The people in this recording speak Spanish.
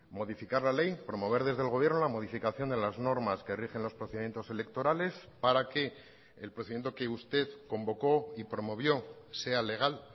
modificar la ley promover desde el gobierno la modificación de las normas que rigen los procedimientos electorales para que el procedimiento que usted convocó y promovió sea legal